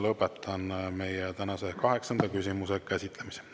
Lõpetan tänase kaheksanda küsimuse käsitlemise.